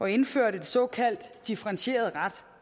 at indføre den såkaldte differentierede ret